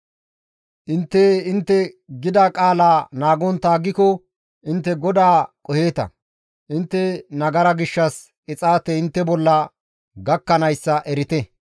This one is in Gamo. «Intte intte gida qaalaa naagontta aggiko intte GODAA qoheeta; intte nagara gishshas qixaatey intte bolla gakkanayssa erite.